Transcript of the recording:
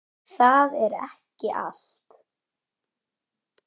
Og það er ekki allt.